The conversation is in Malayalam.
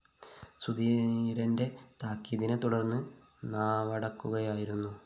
സുധീരന്റെ താക്കീതിനെ തുടര്‍ന്ന്‌ നാവടക്കുകയായിരുന്നു